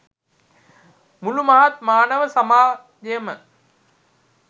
මුළු මහත් මානව සමාජයම